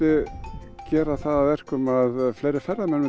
gera það að verkum að fleiri ferðamenn